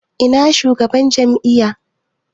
Ina shugaban jami'a?